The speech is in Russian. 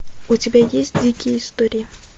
у тебя есть дикие истории